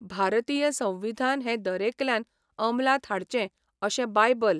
भारतीय संविधान हें दरेकल्यान अंमलांत हाडचें अशें बायबल.